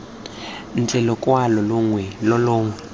ntle lokwalo longwe lo longwe